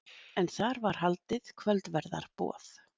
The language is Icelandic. En þar var haldið kvöldverðarboð